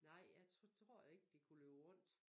Nej jeg tror ikke de kunne løbe rundt